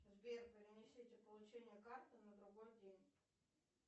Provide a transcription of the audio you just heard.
сбер перенесите получение карты на другой день